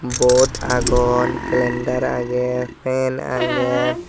bot agon clendar agey fen agey.